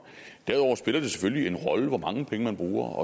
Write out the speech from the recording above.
derudover spiller det selvfølgelig en rolle hvor mange penge man bruger